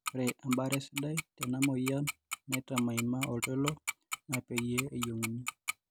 ore ebaare sidai tenamyian naitamaima oltoilo naa pee eyieng'uni.